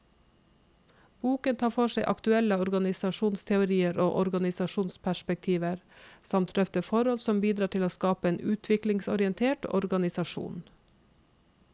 Boken tar for seg aktuelle organisasjonsteorier og organisasjonsperspektiver, samt drøfter forhold som bidrar til å skape en utviklingsorientert organisasjon.